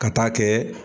Ka taa kɛ